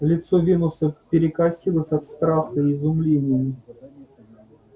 лицо венуса перекосилось от страха и изумления